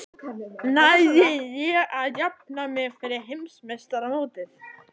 Næ ég að jafna mig fyrir heimsmeistaramótið?